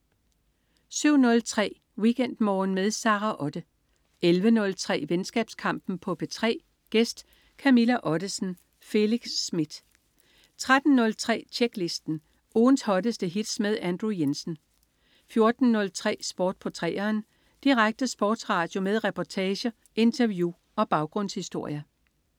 07.03 WeekendMorgen med Sara Otte 11.03 Venskabskampen på P3. Gæst: Camilla Ottesen. Felix Smith 13.03 Tjeklisten. Ugens hotteste hits med Andrew Jensen 14.03 Sport på 3'eren. Direkte sportsradio med reportager, interview og baggrundshistorier